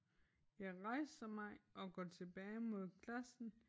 Jeg rejser mig og går tilbage mod klassen